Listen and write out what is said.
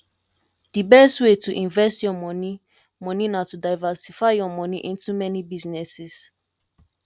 di best way to invest your money money na to diversify your money into many businesses